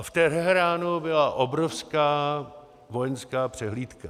A v Teheránu byla obrovská vojenská přehlídka.